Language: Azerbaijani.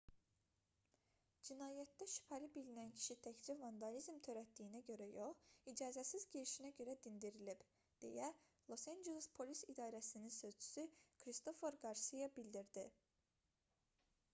"cinayətdə şübhəli bilinən kişi təkcə vandalizm törətdiyinə görə yox icazəsiz girişinə görə dindirilib deyə los anceles polis i̇darəsinin sözçüsü kristofer qarsiya bildirdi